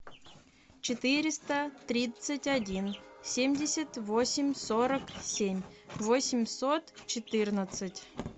четыреста тридцать один семьдесят восемь сорок семь восемьсот четырнадцать